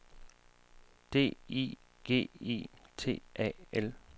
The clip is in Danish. D I G I T A L